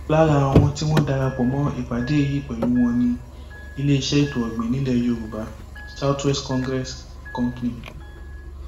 lára àwọn tí wọn darapọ mọ ìpàdé yìí pẹlú wọn ni iléeṣẹ ètò ọgbìn nílẹ yorùbá south west congressl company